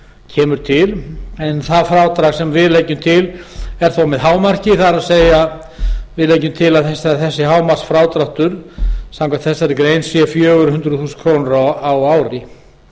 kemur til sá frádráttur sem við leggjum til er þó með hámarki það er að við leggjum til að hámarksfrádrátturinn sé fjögur hundruð þúsund krónur á ári